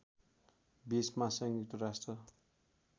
२० मा संयुक्त राष्ट्र